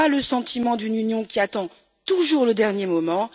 donnons pas le sentiment d'une Union qui attend toujours le dernier moment.